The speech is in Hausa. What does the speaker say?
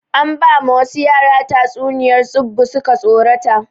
An ba ma wasu yara tatsuniyar tsubu suka tsorata